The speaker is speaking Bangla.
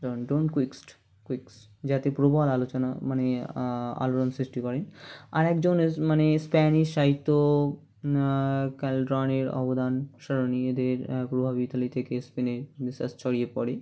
don't quits quicks যাতে প্রবাল আলোচনা মানে আআ আলোড়ন সৃষ্টি করেন আরেকজন আআ মানে Spanish সাহিত্য আআ কারলনের অবদান স্মরনীয় দের প্রভাবিত থেকে স্পেনে Renaissance ছড়িয়ে পরে